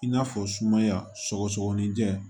I n'a fɔ sumaya sɔgɔsɔgɔni jɛ